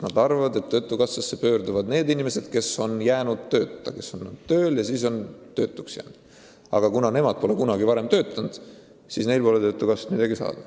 Nad arvavad, et töötukassasse pöörduvad need inimesed, kes on jäänud tööta – kes on olnud tööl ja siis töötuks jäänud –, aga kuna nemad ei ole kunagi töötanud, siis neil pole töötukassast midagi saada.